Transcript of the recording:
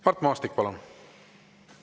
Mart Maastik, palun!